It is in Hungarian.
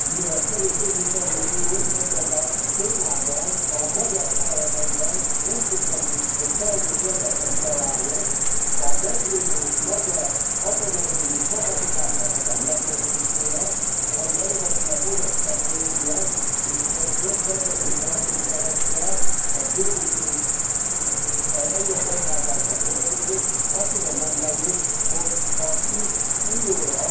Mivel Szanyi képviselő úr ebben a témában a magyar parlamentben nem sikerült, hogy kellő érveket találjon a meglévő magyar atomerőmű kapacitásának a megőrzésére, ami eredetileg orosz technológia, és ezért kedvező feltételekkel a bővítés is egy ilyen beruházásban történik, azt tudom mondani, hogy ha itt újólag